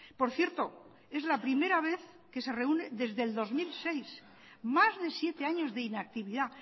por cierto es la primera vez que se reúne desde el dos mil seis más de siete años de inactividad